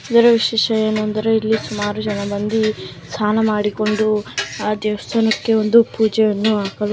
ಇದರ ವಿಶೇಷ ಏನೆಂದರೆ ಇಲ್ಲಿ ಸುಮಾರು ಜನ ಬಂದು ಸ್ನಾನ ಮಾಡಿಕೊಂಡು ಆ ದೇವಸ್ಥಾನಕ್ಕೆ ಒಂದು ಪೂಜೆಯನ್ನು --